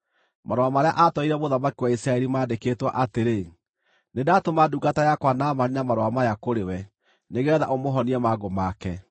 Marũa marĩa atwarĩire mũthamaki wa Isiraeli maandĩkĩtwo atĩrĩ: “Nĩndatũma ndungata yakwa Naamani na marũa maya kũrĩ we, nĩgeetha ũmũhonie mangũ make.”